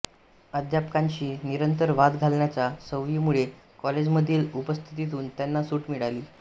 अध्यापकांशी निरंतर वाद घालण्याच्या सवयीमुळे कॉलेजमधील उपस्थितीतून त्यांना सूट मिळाली